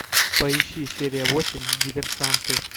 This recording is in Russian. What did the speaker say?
поищи серия восемь диверсанты